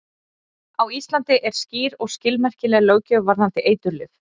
Á Íslandi er skýr og skilmerkileg löggjöf varðandi eiturlyf.